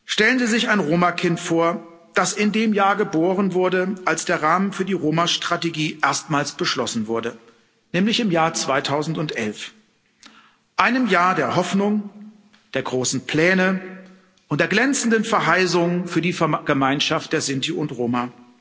Stellen Sie sich ein Roma Kind vor, das in dem Jahr geboren wurde, als der Rahmen für die Roma Strategie erstmals beschlossen wurde, nämlich im Jahr 2011, einem Jahr der Hoffnung, der großen Pläne und der glänzenden Verheißungen für die Gemeinschaft der Sinti und Roma.